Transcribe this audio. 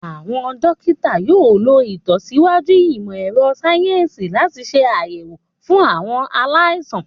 Àwọn dókítà yóò lo ìlọsíwájú ìmọ̀ ẹ̀rọ sayensi láti ṣe àyẹ̀wò fún àwọn aláìsàn